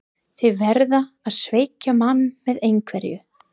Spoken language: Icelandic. Þeir verða að svekkja mann með einhverju.